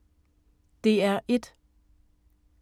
DR1